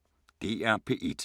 DR P1